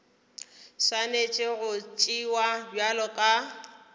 swanetše go tšewa bjalo ka